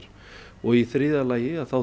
og í þriðja lagi þá